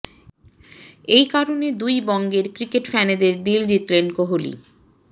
এই কারণে দুই বঙ্গের ক্রিকেট ফ্যানেদের দিল জিতলেন কোহলি